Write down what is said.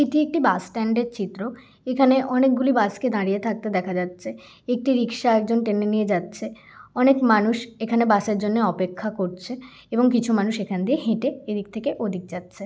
এটি একটি বাসস্ট্যান্ড -এর চিত্র এখানে অনেকগুলি বাস কে দাঁড়িয়ে থাকতে দেখা যাচ্ছে একটি রিক্সা একজন টেনে নিয়ে যাচ্ছে। অনেক মানুষ এখানে বাস এর জন্য অপেক্ষা করছে । এবং কিছু মানুষ এখান দিয়ে হেঁটে এদিক থেকে ওদিক যাচ্ছে।